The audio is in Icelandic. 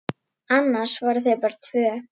Annars voru þau bara tvö.